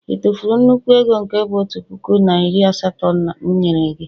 ị tụfuru nnukwu ego nke bu otu puku na iri asatọ m nyere gị?